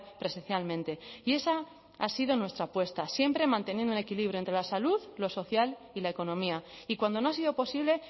presencialmente y esa ha sido nuestra apuesta siempre manteniendo un equilibrio entre la salud lo social y la economía y cuando no ha sido posible